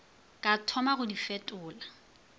ka thoma go di fetola